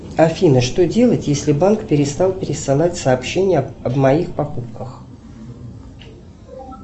афина что делать если банк перестал присылать сообщения о моих покупках